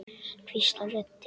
hvíslar röddin.